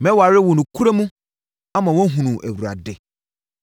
Mɛware wo nokorɛ mu, ama woahunu Awurade.